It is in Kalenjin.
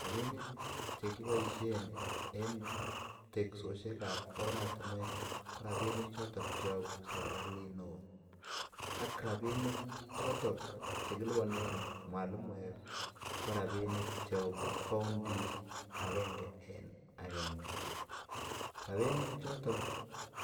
Rabinik Che kiboisien en teksosiek ab oratinwek ko rabinik choton Che yobu serkalit neo ak rabinik choton Che kilipanen mwalimuek ko rabinik Che yobu kauntisiek agenge en agenge rabinik choton